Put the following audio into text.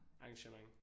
Arrangement